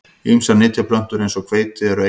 Ýmsar nytjaplöntur eins og hveiti eru einærar.